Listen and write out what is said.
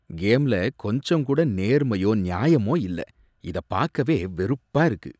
கேம்ல கொஞ்சம்கூட நேர்மையோ நியாயமோ இல்ல. இத பாக்கவே வெறுப்பா இருக்கு.